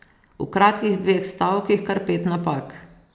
V kratkih dveh stavkih kar pet napak!